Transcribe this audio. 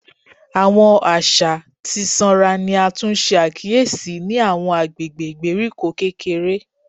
Awọn aṣa ti sanra ni a tun ṣe akiyesi ni awọn agbegbe igberiko kekere